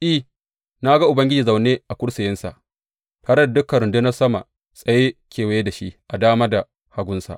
I, na ga Ubangiji zaune a kursiyinsa tare da dukan rundunar sama tsaye kewaye da shi a dama da hagunsa.